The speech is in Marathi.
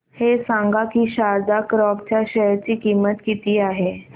हे सांगा की शारदा क्रॉप च्या शेअर ची किंमत किती आहे